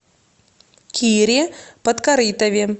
кире подкорытове